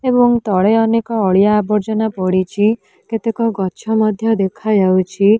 ଏବଂ ତଳେ ଅନେକ ଅଳିଆ ଆବର୍ଜନା ପଡ଼ିଚି କେତେକ ଗଛ ମଧ୍ୟ ଦେଖାଯାଉଛି।